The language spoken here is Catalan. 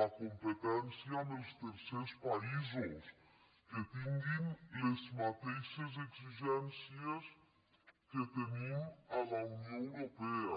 la competència amb els tercers països que tinguin les mateixes exigències que tenim a la unió europea